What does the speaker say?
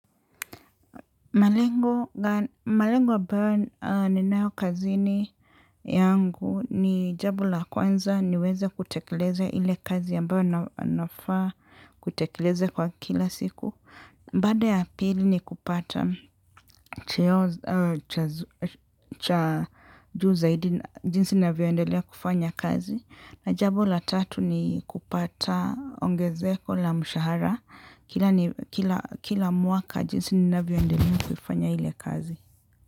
Malengo, ambayo ninayo kazini yangu ni jambo la kwanza niweze kutekeleze ile kazi ambayo nafaa kutekeleze kwa kila siku. Baada ya pili ni kupata cheo cha juu zaidi jinsi navyoendelea kufanya kazi. Na jambo la tatu ni kupata ongezeko la mshahara kila kila mwaka jinsi ninavyoendelea kufanya ile kazi.